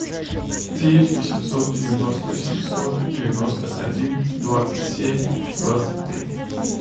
девять восемьсот девяносто семьсот девяносто один двадцать семь двадцать три